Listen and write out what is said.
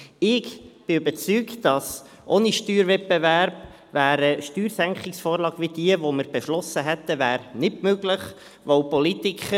Ich bin überzeugt, dass ohne Steuerwettbewerb eine Steuersenkungsvorlage, wie die, die wir beschlossen haben, nicht möglich wäre.